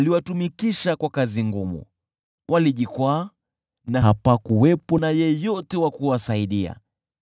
Aliwatumikisha kwa kazi ngumu; walijikwaa na hapakuwepo yeyote wa kuwasaidia.